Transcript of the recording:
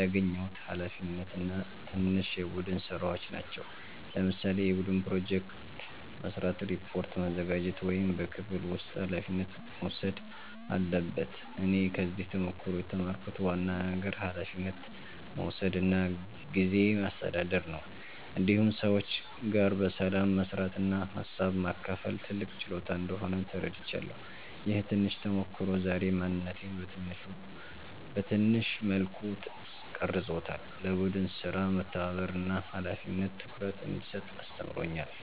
ያገኘሁት ኃላፊነት እና ትናንሽ የቡድን ሥራዎች ናቸው። ለምሳሌ የቡድን ፕሮጀክት መስራት፣ ሪፖርት ማዘጋጀት ወይም በክፍል ውስጥ ኃላፊነት መውሰድ አለበት እኔ ከዚህ ተሞክሮ የተማርኩት ዋና ነገር ኃላፊነት መውሰድ እና ጊዜ ማስተዳደር ነው። እንዲሁም ሰዎች ጋር በሰላም መስራት እና ሀሳብ ማካፈል ትልቅ ችሎታ እንደሆነ ተረድቻለሁ። ይህ ትንሽ ተሞክሮ ዛሬ ማንነቴን በትንሹ መልኩ ቀርጾታል፤ ለቡድን ሥራ መተባበርን እና ለኃላፊነት ትኩረት እንድሰጥ አስተምሮኛል።